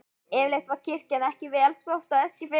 Yfirleitt var kirkja ekki vel sótt á Eskifirði.